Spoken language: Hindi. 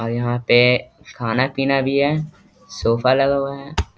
और यहां पे खाना पीना भी है सोफा लगा हुआ है।